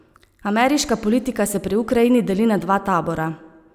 Ameriška politika se pri Ukrajini deli na dva tabora.